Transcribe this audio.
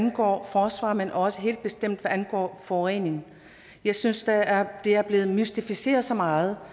angår forsvaret men også helt bestemt hvad angår forurening jeg synes der er er blevet mystificeret så meget